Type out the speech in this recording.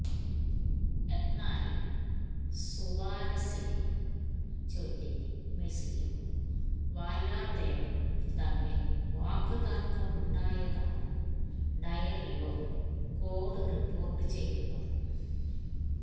എന്നാല് സുവാരസിനെ ചൊല്ലി മെസിയും വാല്വര്ദേയും തമ്മില് വാക്ക് തര്ക്കമുണ്ടായതായാണ് ഡയറിയോ ഗോള് റിപ്പോര്ട്ട് ചെയ്യുന്നത്